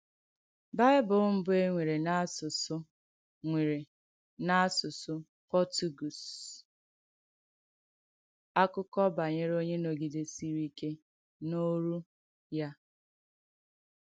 Bìbìl Mbù È Nwèrè n’Àsùsù Nwèrè n’Àsùsù Pòrtùgùese — Àkùkọ̀ Banyere Onye Nọ̀gìdèsìrì Ìkè n’Òrù Ya.